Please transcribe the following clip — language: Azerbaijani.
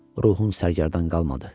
Ruhun sərgərdan qalmadı.